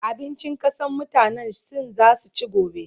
abincin ƙasan mutanan sin zan ci gobe